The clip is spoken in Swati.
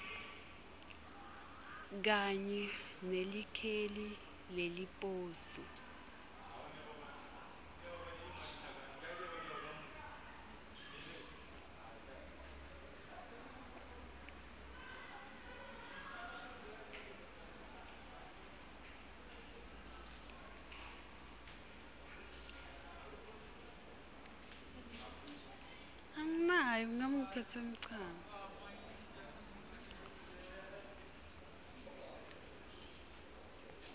kanye nelikheli leliposi